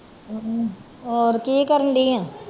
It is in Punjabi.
ਹਮ ਹੋਰ ਕੀ ਕਰਨਡੀ ਆਂ